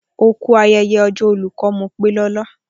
Oku ayẹyẹ ọjọ́ olùkọ́, Mopelola